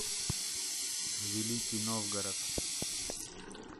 великий новгород